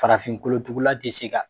Farafin kolotugula te se ka